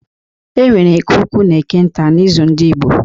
E nwere Eke ukwu na Eke nta n’izu ndị Igbo.